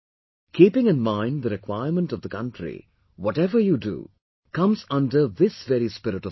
Keeping in mind the requirement of the country, whatever you do, comes under this very spirit of service